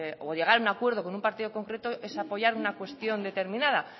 o llegar a un acuerdo con un partido concreto es apoyar una cuestión determinada